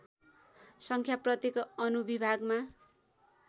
सङ्ख्या प्रत्येक अनुविभागमा